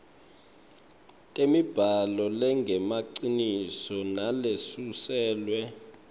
temibhalo lengemaciniso nalesuselwe